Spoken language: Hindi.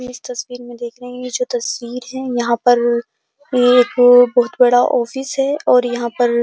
इस तस्वीर में देख रहे हैं ये जो तस्वीर है यहाँ पर ये वो बहोत बड़ा ऑफिस है और यहाँ पर --